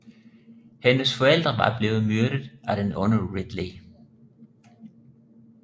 Hendes forældre var blevet myrdet af den onde Ridley